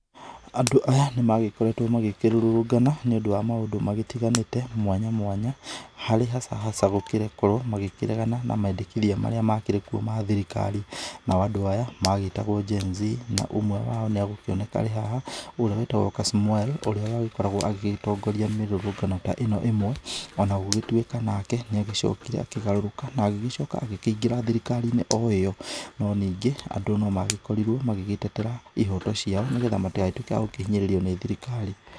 Andũ aya nĩ magĩkoretwo makĩrũrũngana nĩ ũndũ wa maũndũ magĩtiganĩte, mwanya mwanya harĩ hasa hasa gũgĩkorwo makĩregana na mendekithia marĩa makĩrĩkuo ma thirikari. Nao andũ aya magĩtagwo Gen Z. Ũmwe wao nĩ agũkĩoneka arĩ haha ũrĩa wĩtagwo Kasmuel, ũrĩa wagĩkoragwo agĩgĩtongoria mĩrũrũngano ta ĩno ĩmwe. Ona gũgĩtuĩka nake nĩ agĩcokire akĩgarũrũka na agĩcoka akĩingĩra thirikariinĩ o ĩyo. No ningĩ andũ no magĩkorirwo magĩgĩtetera ihoto ciao nĩgetha matigagĩtuĩke a kũhinyĩrĩrio nĩ thirikari.